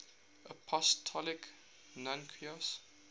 apostolic nuncios